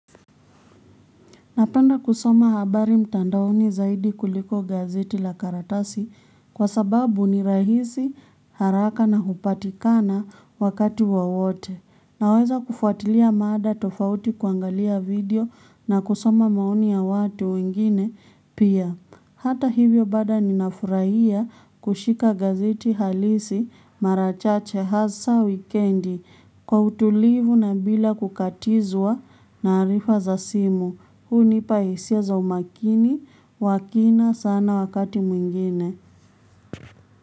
Napenda kusoma habari mtandaoni zaidi kuliko gazeti la karatasi kwa sababu ni rahisi haraka na hupatikana wakati wowote. Naweza kufuatilia mada tofauti kuangalia video na kusoma maoni ya watu wengine pia. Hata hivyo bada ninafuraia kushika gazeti halisi mara chache hasa wikendi kwa utulivu na bila kukatizwa na arifa za simu. Huni paesia zaumakini wa kina sana wakati mwingine.